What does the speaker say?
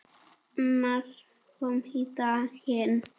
Annað kom á daginn.